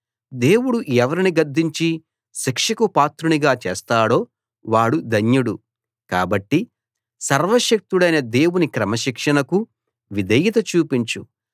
దేవుడు ఎవరిని గద్దించి శిక్షకు పాత్రునిగా చేస్తాడో వాడు ధన్యుడు కాబట్టి సర్వశక్తుడైన దేవుని క్రమశిక్షణకు విధేయత చూపించు